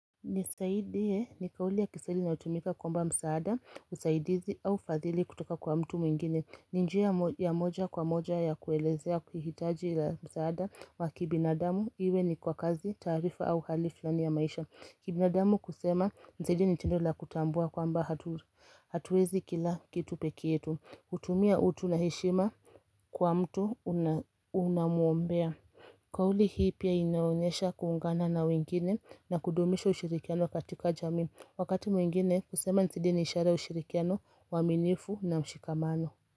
Nisaidie ni kauli ya kiswahili inayotumika kuomba msaada, usaidizi au fadhili kutoka kwa mtu mwingine. Ni njia ya moja kwa moja ya kuelezea kuhitaji ila msaada wa kibinadamu, iwe ni kwa kazi, tarifa au hali filani ya maisha. Kibinadamu kusema, nisaidie ni tendo la kutambua kwamba hatuwezi kila kitu peke yetu. Hutumia utu na heshima kwa mtu unamuombea. Kauli hii pia inaonesha kuungana na wengine na kudumisha ushirikiano katika jamii wakati mwengine kusema nisaidie ni ishara ushirikiano uaminifu na mshikamano.